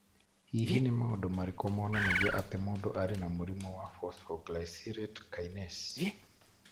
Hihi nĩ maũndũ marĩkũ monanagia atĩ mũndũ arĩ na mũrimũ wa Phosphoglycerate kinase?